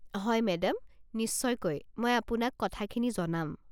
হয় মেডাম, নিশ্চয়কৈ, মই আপোনাক কথাখিনি জনাম।